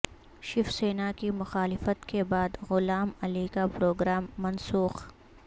شیوسینا کی مخالفت کے بعد غلام علی کا پروگرام منسوخ